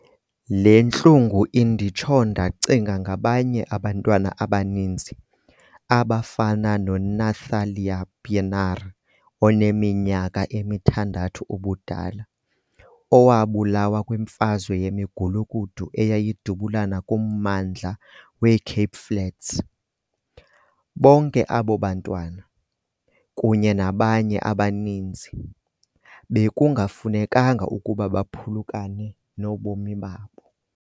Le ntlungu inditsho ndacinga ngabanye abantwana abaninzi, abafana noNathlia Pienaar oneminyaka emi-6 ubudala, owabulawa kwimfazwe yemigulukudu eyayidubulana kummandla we-Cape Flats. Bonke abo bantwana, kunye nabanye abaninzi, bekungafunekanga ukuba baphulukene nobomi babo.